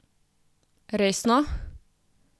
Resno?